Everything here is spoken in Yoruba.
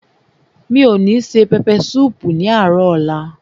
Mi ò ní se pẹpẹ súùpù ní àárò ọ̀la.